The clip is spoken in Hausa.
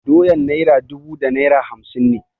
Doyan naira dubu da naira hamsin ne.